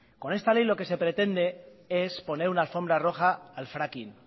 con esta ley lo que se pretende es poner una alfombra roja al fracking